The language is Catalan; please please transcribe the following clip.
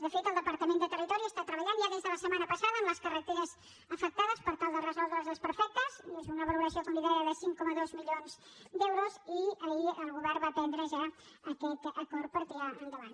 de fet el departament de territori treballa ja des de la setmana passada en les carreteres afectades per tal de resoldre hi els desperfectes i és una valoració com li deia de cinc coma dos milions d’euros i ahir el govern va prendre ja aquest acord per tirar lo endavant